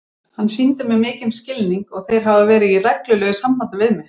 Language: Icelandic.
Hann sýndi mér mikinn skilning og þeir hafa verið í reglulegu sambandi við mig.